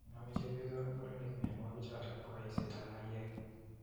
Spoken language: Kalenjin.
Name chepyosok ak mureninik mianwokichotok po eisetap maiyek.